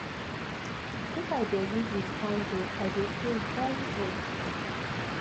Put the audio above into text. if i dey read with candle i dey feel very ok.